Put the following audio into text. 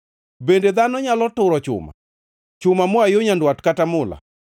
“Bende dhano nyalo turo chuma, chuma moa yo nyandwat kata mula?